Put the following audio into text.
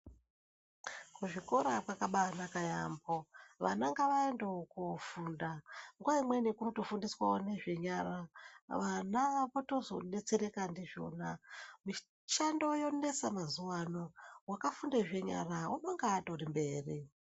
Kuzvikora kwakabaanaka yaambo. Vana ngavaendewo koofunda, nguva imweni kunofundiswawo nezvenyara. Vana vaakutozodetsereka ndizvona. Mishando yonesa mazuva ano, wakafunde zvenyara unonga atori mberi.